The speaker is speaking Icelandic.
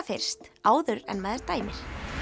fyrst áður en maður dæmir